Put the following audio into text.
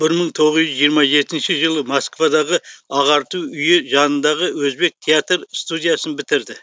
бір мың тоғыз жүз жиырма жетінші жылы москвадағы ағарту үйі жанындағы өзбек театр студиясын бітірді